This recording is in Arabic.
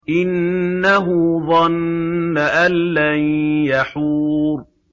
إِنَّهُ ظَنَّ أَن لَّن يَحُورَ